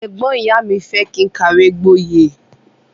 Ẹgbọn ìyá mi fẹ kí n kàwé gbọye.